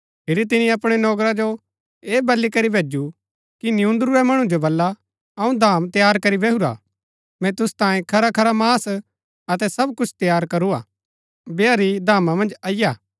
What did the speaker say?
फिरी तिनी अपणै नौकरा जो ऐह बली करी भैजु कि नियून्दुरूरै मणु जो बला अऊँ धाम तैयार करी बैहुरा मैंई तुसु तांई खरा खरा मांस अतै सब कुछ तैयार करूआ बैहा री धामा मन्ज अईआ